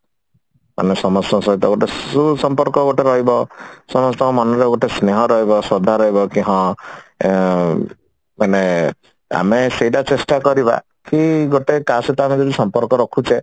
ଆମ ସମସ୍ତଙ୍କ ସହିତ ଗୋଟେ ସୁସମ୍ପର୍କ ଗୋଟେ ରହିବ ସମସ୍ତଙ୍କ ମନରେ ଗୋଟେ ସ୍ନେହ ରହିବ ଶ୍ରଦ୍ଧା ରହିବ କି ହଁ ମାନେ ଆମେ ସେଇଟା ଚେଷ୍ଟା କରିବା କି ଗୋଟେ କାହା ସହିତ ଆମେ ଯଦି ସମ୍ପର୍କ ରଖୁଛେ